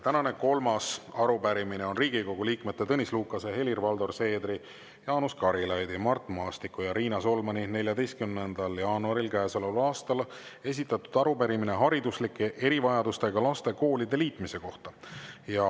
Tänane kolmas arupärimine on Riigikogu liikmete Tõnis Lukase, Helir-Valdor Seedri, Jaanus Karilaidi, Mart Maastiku ja Riina Solmani 14. jaanuaril käesoleval aastal esitatud arupärimine hariduslike erivajadustega laste koolide liitmise kohta.